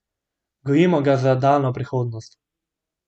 Gojimo ga za daljno prihodnost.